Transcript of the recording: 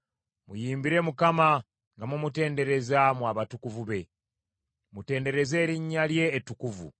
Muyimbire Mukama nga mumutendereza, mmwe abatukuvu be; mutendereze erinnya lye ettukuvu.